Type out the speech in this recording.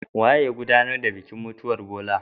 Waye ya godanar da bikin mutuwan Bola?